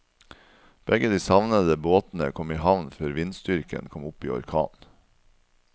Begge de savnede båtene kom i havn før vindstyrken kom opp i orkan.